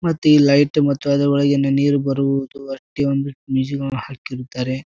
ಮತ್ತ ಈ ಲೈಟ್ ಮತ್ತು ಅದರೊಳಗಿನಿಂದ ನೀರು ಬರುವುದು ಪ್ರತಿಯೊಂದಕ್ ಮ್ಯೂಸಿಕ್ ವಳಗ್ ಹಾಕಿರ್ತಾರೆ.